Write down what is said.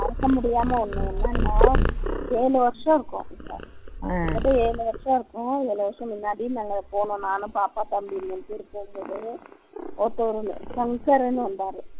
மறக்க முடியாம ஒன்னு என்னன்னா ஏழு வருஷம் இருக்கும் ஏழு வருஷம் முன்னாடி நாங்க போனோம் நான் பாப்பா தம்பி மூணு பேரும் போகும்போது ஒருத்தர் ன்னு வந்தார்